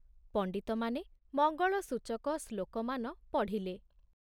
ପଣ୍ଡିତମାନେ ମଙ୍ଗଳସୂଚକ ଶ୍ଳୋକମାନ ପଢ଼ିଲେ।